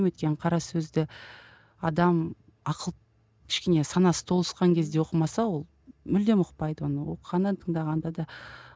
өйткені қара сөзді адам ақыл кішкене санасы толысқан кезде оқымаса ол мүлдем ұқпайды оны оқығанда да тыңдағанда да